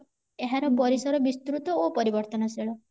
ଏହାର ପରିସର ବିସ୍ତୃତ ଓ ପରିବର୍ତନଶୀଳ